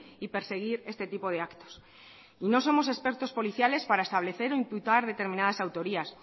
y perseguir este tipo de actos y no somos expertos policiales para establecer o imputar determinadas autorías